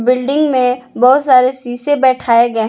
Building में बहुत सारे सीसे बैठाए गए हैं।